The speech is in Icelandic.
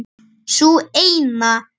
Sú eina!